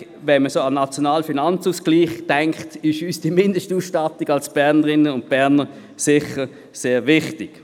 Wenn man an den Nationalen Finanzausgleich (NFA) denkt, ist uns die Mindestausstattung als Bernerinnen und Berner sicher sehr wichtig.